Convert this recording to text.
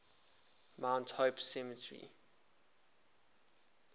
mount hope cemetery